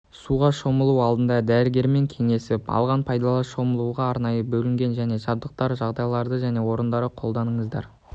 суға шомылу алдында дәрігермен қеңесіп алған пайдалы шомылуға арнайы бөлінген және жабдықталған жағажайларды және орындарды қолда-ныңыздар